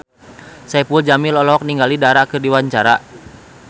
Saipul Jamil olohok ningali Dara keur diwawancara